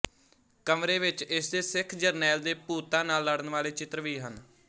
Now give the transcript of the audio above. ਕਮਰੇ ਵਿੱਚ ਇਸਦੇ ਸਿੱਖ ਜਰਨੈਲ ਦੇ ਭੂਤਾਂ ਨਾਲ ਲੜਨ ਵਾਲੇ ਚਿੱਤਰ ਵੀ ਹਨ